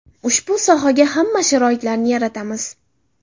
Ushbu sohaga hamma sharoitlarni yaratamiz.